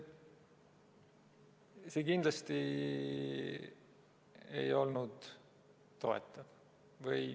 See kindlasti ei olnud toetav.